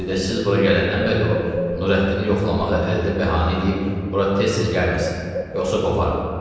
Bir də siz bura gələndən bəri o Nurəddini yoxlamağı əldə bəhanə eləyib bura tez-tez gəlməsin, yoxsa qovaram.